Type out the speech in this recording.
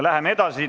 Läheme edasi.